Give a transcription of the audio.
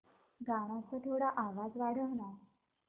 गाण्याचा थोडा आवाज वाढव ना